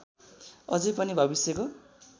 अझै पनि भविष्यको